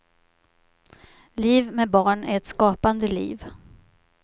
Liv med barn är ett skapande liv.